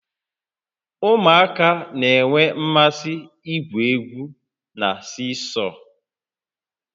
Ụmụaka na-enwe mmasị igwu egwu na siisọọ